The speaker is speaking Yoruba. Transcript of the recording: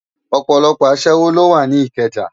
Òpòlòpò aṣèwó ló wá ni Ikeja